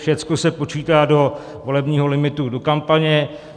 Všecko se počítá do volebního limitu do kampaně.